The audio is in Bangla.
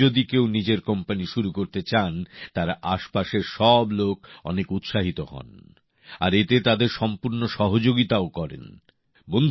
কিন্তু আজ যদি কেউ নিজের কোম্পানি শুরু করতে চান তার আশেপাশের সব লোক অনেক উৎসাহিত হন আর এতে তাদের সম্পূর্ণ সহযোগিতাও করেন